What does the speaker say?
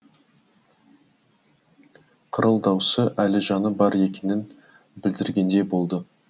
қырыл даусы әлі жаны бар екенін білдіргендей болды